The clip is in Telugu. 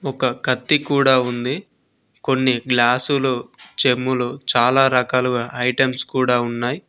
ఒక కత్తి కూడా ఉంది కొన్ని గ్లాసులు చెంబులు చాలా రకాలుగా ఐటమ్స్ కూడా ఉన్నాయి.